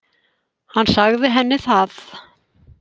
Hann sagði henni það.